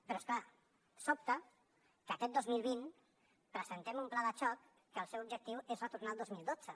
però és clar sobta que aquest dos mil vint presentem un pla de xoc que el seu objectiu és retornar al dos mil dotze